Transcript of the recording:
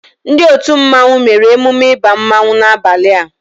Ndị otu mmanwu nwere emume ịba mmanwu n'abalia